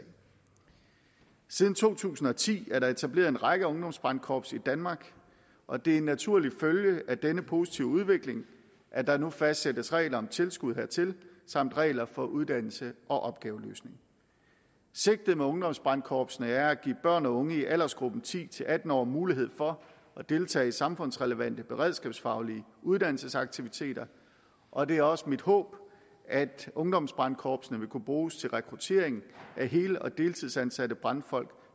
siden to tusind og ti er der etableret en række ungdomsbrandkorps i danmark og det er en naturlig følge af denne positive udvikling at der nu fastsættes regler om tilskud hertil samt regler for uddannelse og opgaveløsning sigtet med ungdomsbrandkorpsene er at give børn og unge i aldersgruppen ti til atten år mulighed for at deltage i samfundsrelevante beredskabsfaglige uddannelsesaktiviteter og det er også mit håb at ungdomsbrandkorpsene vil kunne bruges til rekruttering af hel og deltidsansatte brandfolk